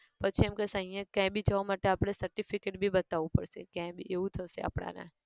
પછી એમ કહેશે અહીંયા ક્યાંય બી જવા માટે આપણે certificate બી બતાવું પડશે ક્યાંય બી એવું થશે આપડાને